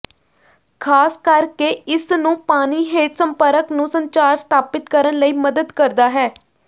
ਖ਼ਾਸ ਕਰਕੇ ਇਸ ਨੂੰ ਪਾਣੀ ਹੇਠ ਸੰਪਰਕ ਨੂੰ ਸੰਚਾਰ ਸਥਾਪਿਤ ਕਰਨ ਲਈ ਮਦਦ ਕਰਦਾ ਹੈ